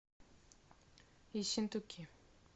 ессентуки